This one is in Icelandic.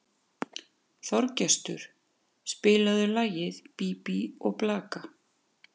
Þorgestur, spilaðu lagið „Bí bí og blaka“.